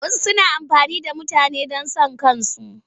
Wasu suna amfani da mutane don son kansu.